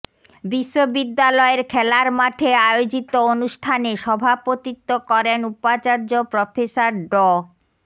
বিশ্ববিদ্যালয়ের খেলার মাঠে আয়োজিত অনুষ্ঠানে সভাপতিত্ব করেন উপাচার্য প্রফেসর ড